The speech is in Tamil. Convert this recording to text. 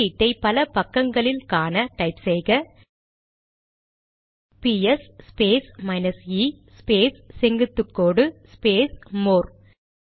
வெளியீட்டை பல பக்கங்களில் காண டைப் செய்க ps space minus e space செங்குத்துகோடு ஸ்பேஸ் மோர்